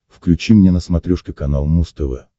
включи мне на смотрешке канал муз тв